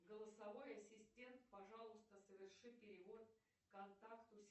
голосовой ассистент пожалуйста соверши перевод контакту